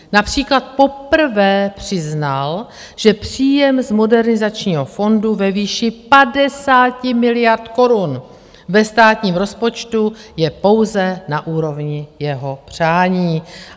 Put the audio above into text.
Například poprvé přiznal, že příjem z modernizačního fondu ve výši 50 miliard korun ve státním rozpočtu je pouze na úrovni jeho přání.